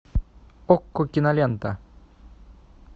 окко кинолента